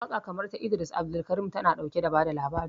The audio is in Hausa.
Waƙa kamar ta Idris Abdulkarim, tana ɗauke da bada labari.